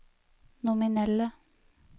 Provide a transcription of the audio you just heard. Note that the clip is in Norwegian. nominelle